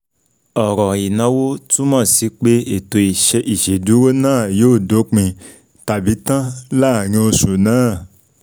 Ọrọ “inawo” túmọ̀ sí pé ètò ìṣèdúró náà yóò dópin, tabi tan, láàrin oṣù náà